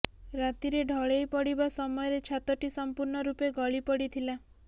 ରାତିରେ ଢଳେଇ ପଡ଼ିବା ସମୟରେ ଛାତଟି ସଂପୂର୍ଣ୍ଣ ରୂପେ ଗଳି ପଡ଼ିଥିଲା